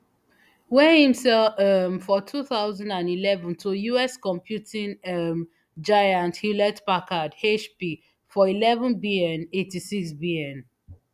wey im sell um for two thousand and eleven to us computing um giant hewlettpackard hp for eleven bn eighty-sixbn